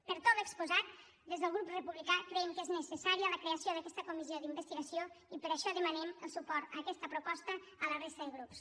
per tot l’exposat des del grup republicà creiem que és necessària la creació d’aquesta comissió d’investigació i per això demanem el suport a aquesta proposta a la resta de grups